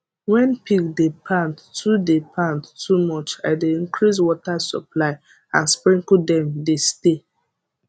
when pig dey pant too dey pant too much i dey increase water supply and sprinkle dem de stay